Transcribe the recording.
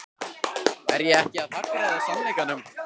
Er ég ekki að hagræða sannleikanum?